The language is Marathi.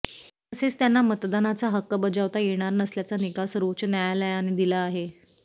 तसेच त्यांना मतदानाचा हक्क बजावता येणार नसल्याचा निकाल सर्वोच्च न्यायालयाने दिला आहे